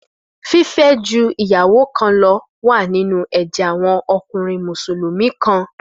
Fífẹ́ ju ìyàwó kan lọ wà nínú ẹ̀jẹ̀ àwọn ọkùnrin Mùsùlùmí kan.